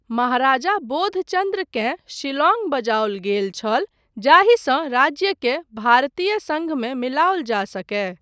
महाराजा बोधचन्द्रकेँ शिलांग बजाओल गेल छल जाहिसँ राज्यकेँ भारतीय संघमे मिलाओल जा सकए।